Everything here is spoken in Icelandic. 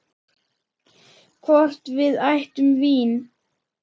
Hvort við ættum vín?